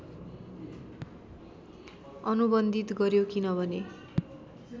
अनुबन्धित गर्‍यो किनभने